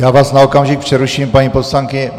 Já vás na okamžik přeruším, paní poslankyně.